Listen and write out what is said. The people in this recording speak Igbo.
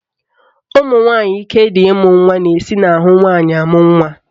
Ụmụnwanyị ike dị ịmụ nwa na-esi n'ahụ nwaanyị amụ nwa